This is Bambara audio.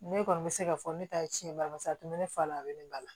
Ne kɔni bɛ se k'a fɔ ne ta ye tiɲɛ bari a tun bɛ ne fa la a bɛ nin ba la